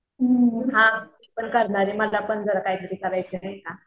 हा मी पण करणार आहे मला पण जरा काहीतरी करायचं आहे.